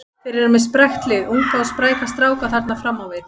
Þeir eru með sprækt lið, unga og spræka stráka þarna fram á við.